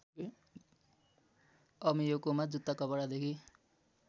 अमेयोकोमा जुत्ता कपडादेखि